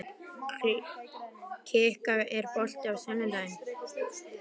Kikka, er bolti á sunnudaginn?